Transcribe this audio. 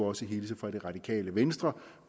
også hilse fra det radikale venstre